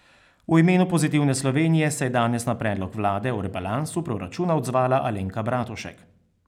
V imenu Pozitivne Slovenije se je danes na predlog vlade o rebalansu proračuna odzvala Alenka Bratušek.